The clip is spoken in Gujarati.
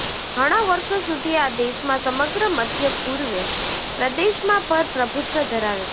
ઘણા વર્ષો સુધી આ દેશમાં સમગ્ર મધ્ય પૂર્વ પ્રદેશમાં પર પ્રભુત્વ ધરાવે છે